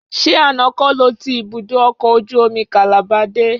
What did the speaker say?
Ṣé àná kọ́ lo ti ibùdó ọkọ̀ ojú omi Calabar dé?